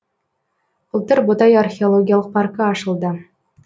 былтыр ботай археологиялық паркі ашылды